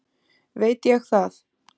veit ég það?